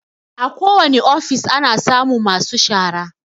A ko wani ofis ana samun masu shara